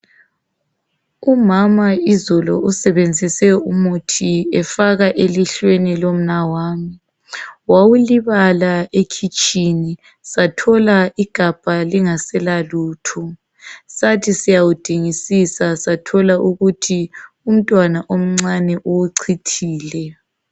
Umama izolo usebenzise umuthi efaka elihlweni lomnawami. Wawulibala ekhithini. Sathola igabha lingasela lutho, sathi siyawudingisisa sathola ukuthi umntwana omncane uwuchithile.